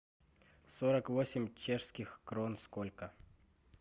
сорок восемь чешских крон сколько